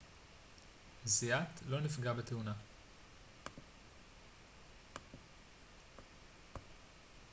זיאת לא נפגע בתאונה